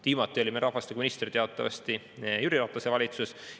Viimati oli meil rahvastikuminister teatavasti Jüri Ratase valitsuses.